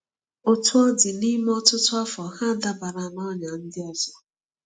Otú ọ dị, n’ime ọtụtụ afọ, ha dabara n’ọnyà ndị ọzọ.